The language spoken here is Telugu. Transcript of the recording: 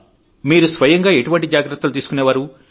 మీరు స్వయంగా ఎటువంటి జాగ్రత్తలు తీసుకునేవారు